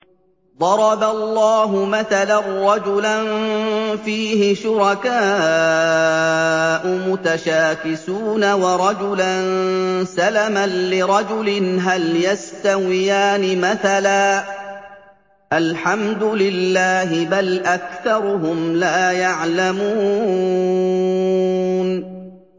ضَرَبَ اللَّهُ مَثَلًا رَّجُلًا فِيهِ شُرَكَاءُ مُتَشَاكِسُونَ وَرَجُلًا سَلَمًا لِّرَجُلٍ هَلْ يَسْتَوِيَانِ مَثَلًا ۚ الْحَمْدُ لِلَّهِ ۚ بَلْ أَكْثَرُهُمْ لَا يَعْلَمُونَ